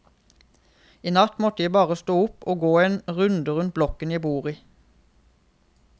I natt måtte jeg bare stå opp og gå en runde rundt blokken jeg bor i.